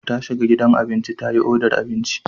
Ta shiga gidan abinci ta yi odar abinci.